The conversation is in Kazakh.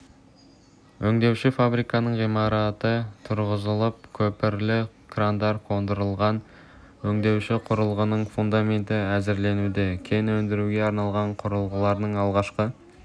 өңдеуші фабриканың ғимараты тұрғызылып көпірлі крандар қондырылған өңдеуші құрылғының фундаменті әзірленуде кен өндіруге арналған құрылғылардың алғашқы